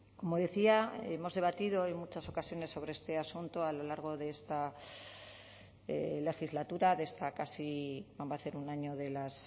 como decía hemos debatido en muchas ocasiones sobre este asunto a lo largo de esta legislatura de esta casi va a hacer un año de las